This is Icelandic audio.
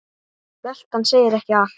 Veltan segir ekki allt.